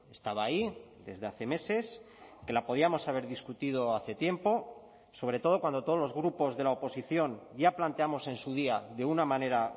estaba ahí desde hace meses que la podíamos haber discutido hace tiempo sobre todo cuando todos los grupos de la oposición ya planteamos en su día de una manera